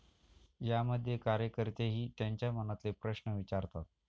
यामध्ये कार्यकर्तेही त्यांच्या मनातले प्रश्न विचारतात.